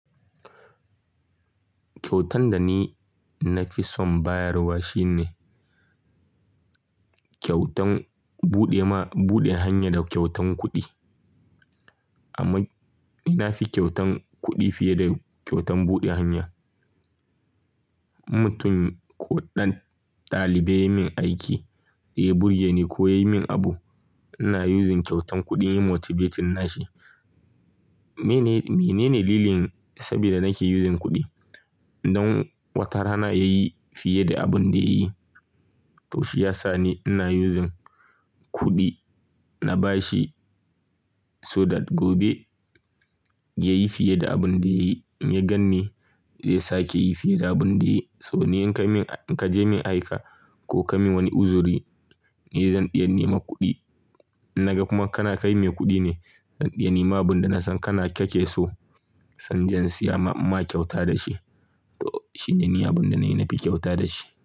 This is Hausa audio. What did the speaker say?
Kyautan da ni na fi son bayarwa shine kyautan buɗe hanya da kyautan kuɗi. Amma ina fi kyautan kuɗi fiye da kyautan buɗe hanya. Mutum ko ɗan ɗalibai yayi min aiki, ya burgere ni ko yayi min abu, ina using kyautan kuɗi motivation nashi. Menene dalilin saboda nake using kuɗi? Don wata rana yayi fiye da abun da yayi. To shi ya sa ni ina using kuɗi na bashi, so da gobe yayi fiye da abun da yayi. Ya gan ni zai sake yi fiye da abun da yayi. So ni in ka je min aiki ko ka min wani uzuri, ni zan iya nema kuɗi. In naga kuma kana kai mai kuɗi ne, zan iya nema abin da na san kana kake so sannan zan siya ma kyauta da shi. To shi ne abin da ni na fi kyauta da shi.